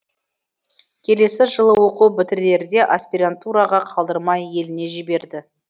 келесі жылы оқу бітірерде аспирантураға қалдырмай еліне жіберді